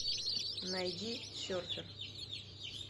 найди серфер